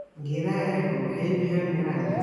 Geedaha apple waxay bixiyaan miraha wanaagsan.